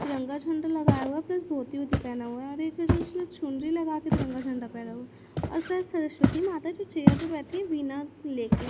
तिरंगा झंडा लगाया हुआ प्लस मोती वोती पहना हुआ है और एक है जो उसने चुनरी लगाकर तिरंगा झंडा फहरा हुआ और शाय सरस्वती माता जो चेयर पे बैठी हुई वीणा लेके --